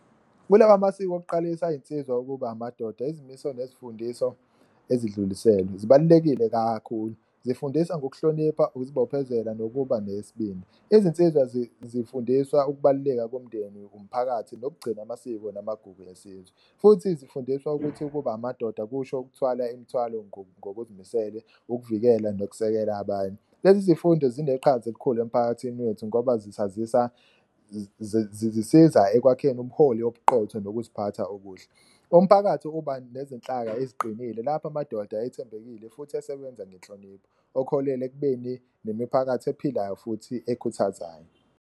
Kulawa amasiko okuqalisa iy'nsizwa ukuba amadoda izimiso nezifundiso ezidluliselwe zibalulekile kakhulu, zifundisa ngokuhlonipha, ukuzibophezela nokuba nesibindi. Izinsizwa zifundiswa ukubaluleka komndeni, umphakathi nokugcina amasiko namagugu esizwe futhi zifundiswa ukuthi ukuba amadoda kusho ukuthwala imithwalo ngokuzimisele, ukuvikela nokusekela abanye. Lezi zifundo zineqhaza elikhulu emphakathini wethu ngoba zisiza ekwakheni ubuholi obuqotho, nokuziphatha okuhle. Umphakathi uba nezinhlaka eziqinile lapho amadoda ethembekile futhi esebenza ngenhlonipho, okuholela ekubeni nemiphakathi ephilayo futhi ekhuthazayo.